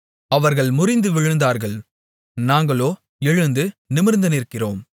அவர்கள் முறிந்து விழுந்தார்கள் நாங்களோ எழுந்து நிமிர்ந்து நிற்கிறோம்